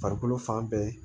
Farikolo fan bɛɛ